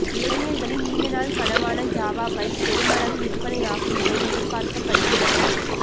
இளைஞர்களின் நீண்ட நாள் கனவான ஜாவா பைக் பெருமளவு விற்பனை ஆகும் என எதிர்பார்க்கப்படுகிறது